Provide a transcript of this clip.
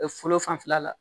fɔlɔ fanfɛla la